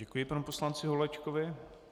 Děkuji panu poslanci Holečkovi.